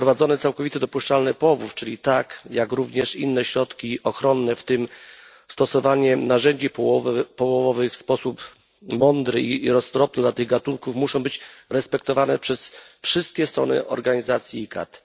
Wprowadzenie całkowitych dopuszczalnych połowów, czyli TAC, jak również inne środki ochronne, w tym stosowanie narzędzi połowowych w sposób mądry i roztropny dla tych gatunków muszą być respektowane przez wszystkie strony organizacji ICCAT.